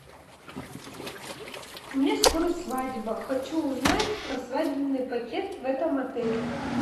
у меня скоро свадьба хочу узнать про свадебный пакет в этом отеле